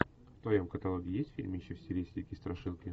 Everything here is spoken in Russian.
в твоем каталоге есть фильмище в стилистике страшилки